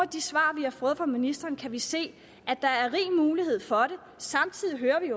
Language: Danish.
de svar vi har fået fra ministeren kan vi se at der er rig mulighed for det samtidig hører vi